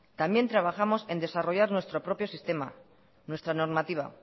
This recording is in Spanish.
también trabajamos en desarrollar nuestro propio sistema nuestra normativa